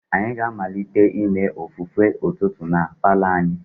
Anyị ga-amalite ime ofufe ụtụtụ na palour anyi.